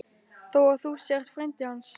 Þó að þú sért frændi hans.